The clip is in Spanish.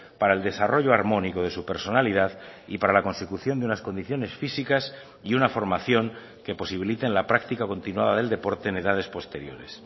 para el desarrollo armónico de su personalidad y para la consecución de unas condiciones físicas y una formación que posibiliten la práctica continuada del deporte en edades posteriores